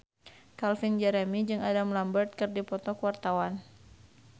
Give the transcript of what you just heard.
Calvin Jeremy jeung Adam Lambert keur dipoto ku wartawan